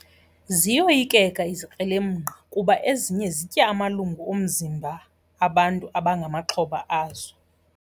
Ziyoyikeka izikrelemnqa kuba ezinye zitya amalungu omzimba bantu abangamaxhoba azo.